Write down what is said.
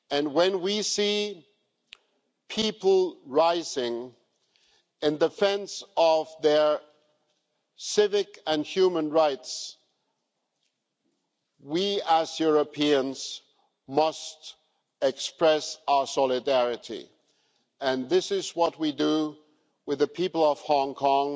When we see people rising in defence of their civic and human rights, we as Europeans must express our solidarity and this is what we do with the people of Hong Kong